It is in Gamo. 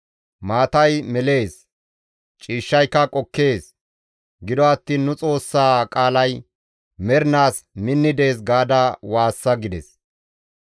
Maatay melees; ciishshayka qokkees; gido attiin nu Xoossaa qaalay mernaas minni dees» gaada waassa gides.